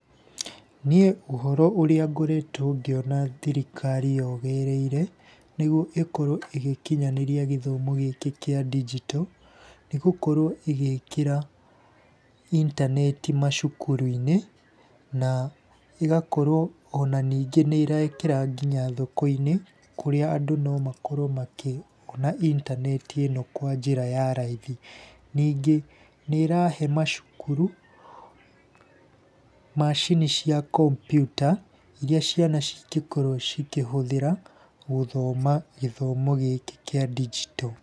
Niĩ ũhoro ũrĩa ngoretwo ngĩona thirikari yogereire nĩguo ĩkorwo ĩgĩkinyanĩria gĩthomo gĩkĩ kĩa ndinjito, nĩ gũkorwo ĩgĩkĩra intaneti macukuru-inĩ, na ĩgakorwo ona ningĩ nĩ ĩrekĩra nginya thoko-inĩ kũrĩa andũ no makorwo makĩona intaneti ĩno kwa njĩra ya raithi. Ningĩ nĩ ĩrahe macukuru macini cia kompiuta iria ciana cingĩkorwo cikĩhũthĩra gũthoma gĩthomo gĩkĩ kĩa ndinjito.